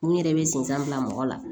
N yɛrɛ bɛ sensan bila mɔgɔ la